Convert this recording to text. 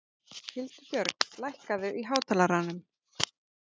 Hildibjörg, lækkaðu í hátalaranum.